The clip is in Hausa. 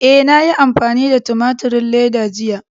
E, na yi amfani da tumaturin leda jiya.